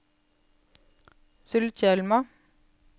Sulitjelma